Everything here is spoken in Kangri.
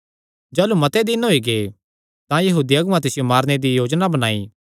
जाह़लू मते दिन होई गै तां यहूदी अगुआं तिसियो मारने दी योजना बणाई